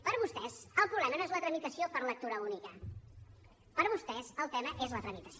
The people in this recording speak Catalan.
per vostès el problema no és la tramitació per lectura única per vostès el tema és la tramitació